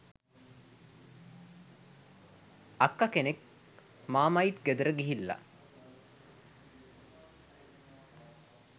අක්ක කෙනෙක් මාමයිට් ගෙදර ගිහිල්ලා